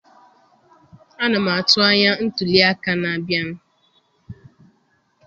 Ana m atụ anya ntuli aka na-abịa